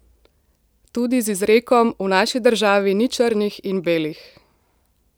Tudi z izrekom: "V naši državi ni črnih in belih.